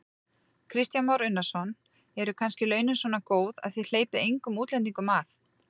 Kristján Már Unnarsson: Eru kannski launin svona góð að þið hleypið engum útlendingum að?